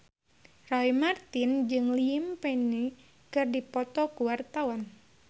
Roy Marten jeung Liam Payne keur dipoto ku wartawan